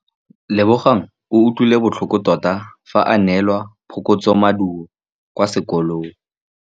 Lebogang o utlwile botlhoko tota fa a neelwa phokotsômaduô kwa sekolong.